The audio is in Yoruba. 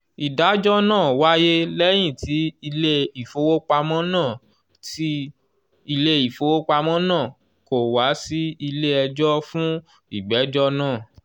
ìdájọ́ náà wáyé lẹ́yìn tí ilé-ìfowópamọ́ náà tí ilé-ìfowópamọ́ náà kò wá sí ilé ẹjọ́ fún ìgbẹ́jọ́ náà.